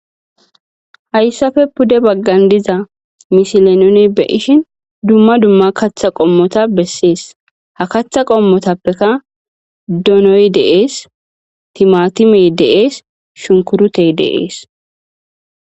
Haysape pude baggan diza misile nu be'ishin,dummadumma kaththa qommoti shiiqidi dizaysi beetees. Ha kaththa kommotapeka ,donoy dees,shunkurtoy dees.timatimey dees.